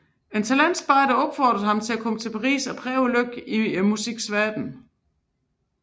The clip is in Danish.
En talentspejder opfordrede ham til at komme til Paris og prøve lykken i musikkens verden